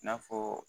I n'a fɔ